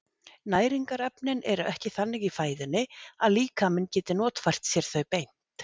Næringarefnin eru ekki þannig í fæðunni að líkaminn geti notfært sér þau beint.